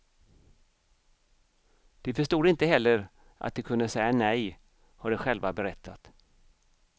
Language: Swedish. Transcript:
De förstod inte heller att de kunde säga nej, har de själva berättat.